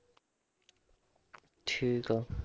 ਠੀਕ ਆ